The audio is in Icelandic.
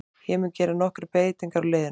Ég mun gera nokkrar breytingar á liðinu.